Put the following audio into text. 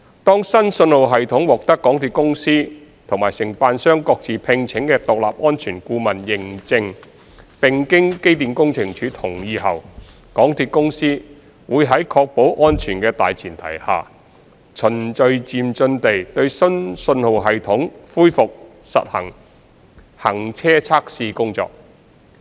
當新信號系統獲得港鐵公司和承辦商各自聘請的獨立安全顧問認證，並經機電署同意後，港鐵公司會在確保安全的大前提下，循序漸進地對新信號系統恢復實地行車測試工作。